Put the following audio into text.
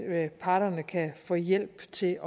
at parterne kan få hjælp til